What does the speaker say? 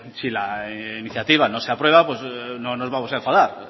si la iniciativa no se aprueba no nos vamos a enfadar